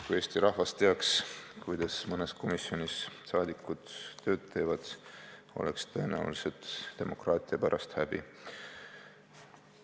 Kui Eesti rahvas teaks, kuidas mõnes komisjonis rahvasaadikud tööd teevad, oleks demokraatia pärast tõenäoliselt häbi.